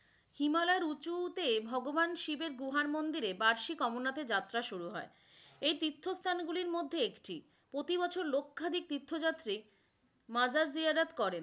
হিমালয়ের উচুতে ভগবান শিবের গুহার মন্দিরে বার্ষিক অমরনাথ এর যাত্রা শুরু হয়, এই তীর্থস্থান গুলির মধ্যে একটি প্রতিবছর লখ্যাধিক তীর্থযাত্রী মাজার জিয়ারত করেন,